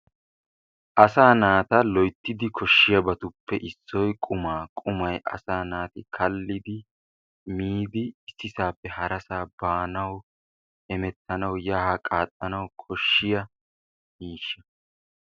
Asaa naata loyttidi koshiyaabatuppe issoy qummaa, qummaay asa naatti kaalidi miidi issisaappe harassaa baanawu hemettanawu yaa haa qaaxanawu koshshiyaa miishshaa.